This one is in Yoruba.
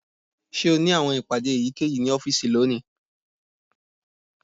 Ṣe o ni awọn ipade eyikeyi ni ọfiisi loni?